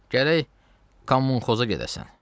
Gərək Komunxoza gedəsən."